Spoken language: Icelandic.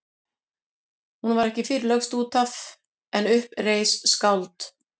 Hún var ekki fyrr lögst út af en upp reis skáld.